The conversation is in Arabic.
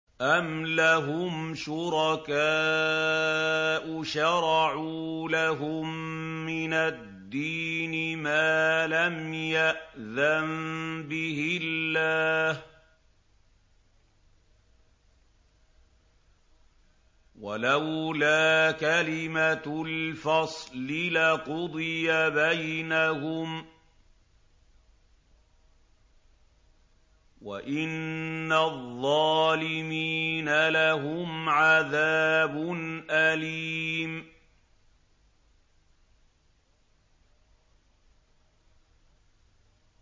أَمْ لَهُمْ شُرَكَاءُ شَرَعُوا لَهُم مِّنَ الدِّينِ مَا لَمْ يَأْذَن بِهِ اللَّهُ ۚ وَلَوْلَا كَلِمَةُ الْفَصْلِ لَقُضِيَ بَيْنَهُمْ ۗ وَإِنَّ الظَّالِمِينَ لَهُمْ عَذَابٌ أَلِيمٌ